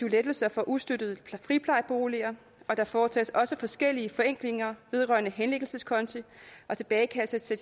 lettelser for ustøttede friplejeboliger og der foretages også forskellige forenklinger vedrørende henlæggelseskonti og tilbagekaldelse af